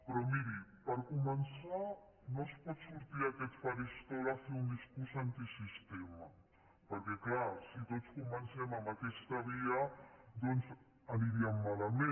però miri per començar no es pot sortir a aquest faristol a fer un discurs antisistema perquè clar si tots comencem amb aquesta via doncs aniríem malament